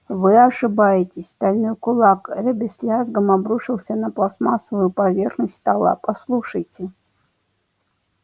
вы ошибаетесь стальной кулак эрби с лязгом обрушился на пластмассовую поверхность стола послушайте